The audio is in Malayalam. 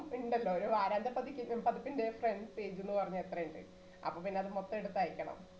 ഇണ്ടല്ലോ ഒരു വാര്യന്തപ്പതിപ്പിന്റെ first ന്റെ front page എന്ന് പറഞ്ഞാൽ എത്രയുണ്ട്? അപ്പോ പിന്നെ അത് മൊത്തം എടുത്ത് അയക്കണം.